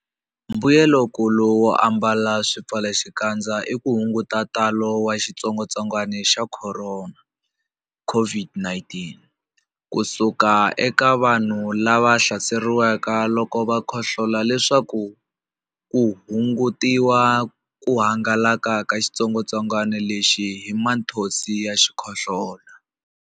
Mbuyelonkulu wo ambala swipfalaxikandza i ku hunguta ntalo wa xitsongwantsongwana xa Khorona, COVID-19, ku suka eka vanhu lava hlaseriweke loko va khohlola leswaku ku hungutiwa ku hangalaka ka xitsongwantsongwana lexi hi mathonsi ya xikhohlola.